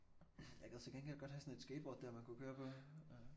Jeg gad til gengæld godt have sådan et skateboard dér man kunne køre på